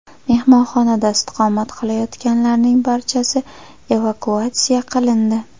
Mehmonxonada istiqomat qilayotganlarning barchasi evakuatsiya qilindi.